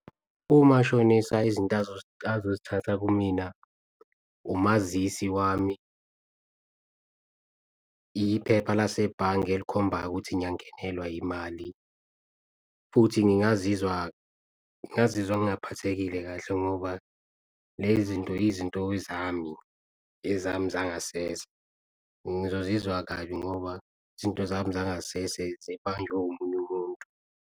Umashonisa izinto azozithatha kumina umazisi wami, iphepha lasebhange elikhombayo ukuthi ngiyangenelwa yimali futhi ngingazizwa ngingazizwa ngingaphathekile kahle. Ngoba le zinto izinto zami ngezami zangasese, ngizozizwa kabi ngoba izinto zami zangasese zibanjwe omunye umuntu.